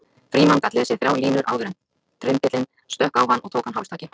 Frímann gat lesið þrjár línur áður en trymbillinn stökk á hann og tók hann hálstaki.